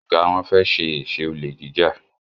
Oga wón fè ṣe eṣe Olè jíjà.